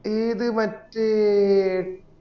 ഏത് മറ്റേ